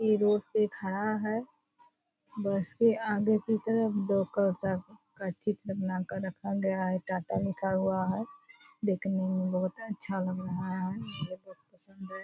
ये रोड पे खड़ा है बस के आगे की तरफ बना कर रखा गया है टाटा लिखा हुआ है देखने में बहुत अच्छा लग रहा है मुझे बहुत पसंद है।